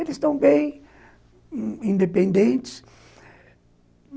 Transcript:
Eles estão bem independentes.